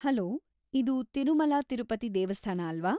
Hello, ಇದು ತಿರುಮಲ ತಿರುಪತಿ ದೇವಸ್ಥಾನ ಅಲ್ವಾ?